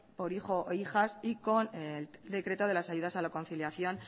por hijo hijas y con el decreto de ayudas a la conciliación